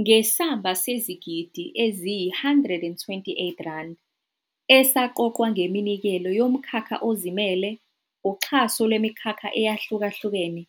Ngesamba sezigidi eziyi-R128 esaqoqwa ngeminikelo yomkhakha ozimele, uxhaso lwemikhakha eyahluka hlukene,